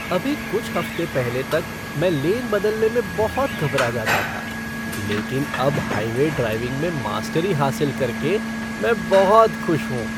अभी कुछ हफ़्ते पहले तक मैं लेन बदलने में बहुत घबरा जाता था, लेकिन अब हाईवे ड्राइविंग में मास्टरी हासिल करके मैं बहुत खुश हूँ।